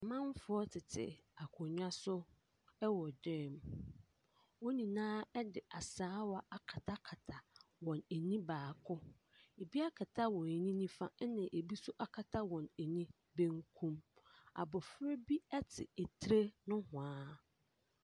Amanfoɔ tete akonnwa so wɔ dan mu. Wɔn nyinaa de asaawa akatakata wɔn ani baako. Ebi akata wɔn ani nifa, ɛnna ebi nso akata wɔn ani benkum. Abɔfra bi te tire nohoa.